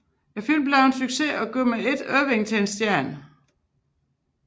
Filmen blev en succes og gjorde med ét Irvine til en stjerne